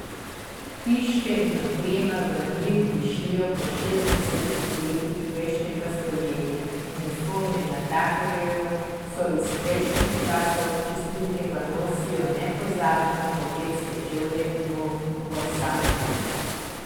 Hiške in oprema v njih dišijo po šestdesetih letih prejšnjega stoletja, uniforme natakarjev so iz prejšnjih časov, čistilke pa nosijo nepozabne ortopedske čevlje borosanke.